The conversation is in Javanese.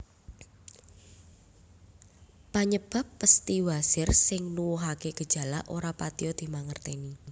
Panyebab pesthi wasir sing nuwuhake gejala ora patiya dimangerteni